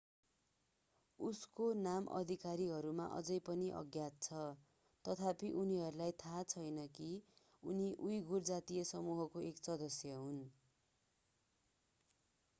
उसको नाम अधिकारीहरूमा अझै पनि अज्ञात छ तथापि उनीहरूलाई थाहा छैन कि उनी उईघुर जातीय समूहको एक सदस्य हुन्